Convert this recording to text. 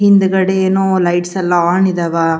ಹಿಂದಗಡಿ ಏನೋ ಲೈಟ್ಸ್ ಎಲ್ಲಾ ಆನ್ ಇದಾವ .